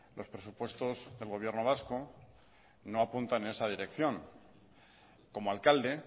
los presupuestos del gobierno vasco no apuntan en esa dirección como alcalde